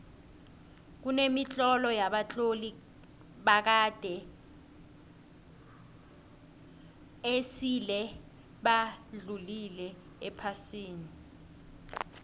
kemitlolo yabatloli bakade esile badlula ephasini